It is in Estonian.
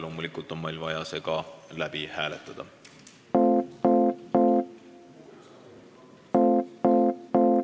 Loomulikult on meil vaja see läbi hääletada.